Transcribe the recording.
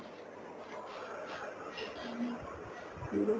hello